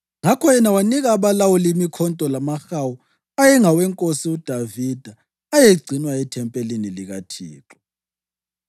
Ngakho yena wanika abalawuli imikhonto lamahawu ayengawenkosi uDavida ayegcinwa ethempelini likaThixo.